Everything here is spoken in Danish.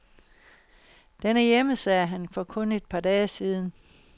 Den er hjemme, sagde han for kun et par dage siden.